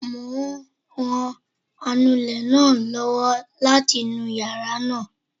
Mo ń ran anulẹ̀ náà lọ́wọ́ láti nu yàrá náà